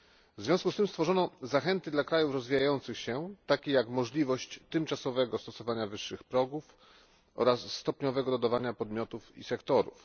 W związku z tym stworzono zachęty dla krajów rozwijających się, takie jak możliwość tymczasowego stosowania wyższych progów oraz stopniowego dodawania podmiotów i sektorów.